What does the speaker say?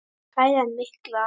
Kælan mikla.